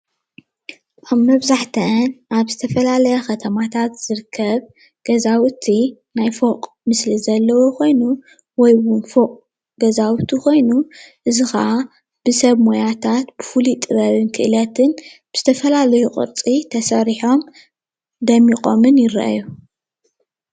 ኣብ መብዛሕትኣን ኣብ ዝተፈላለያ ከተማታት ዝርከብ ገዛውቲ ናይ ፎቅ ምስሊ ዘለዎ ኮይኑ ወይ እውን ፎቅ ገዛውቲ ኮይኑ እዚ ክዓ ብሰብ ሞያታት ብፉሉይ ክእለትን ዝተፈላለዩ ቅርፂ ተሰሪሖም ደሚቆምን ይርኣዩ።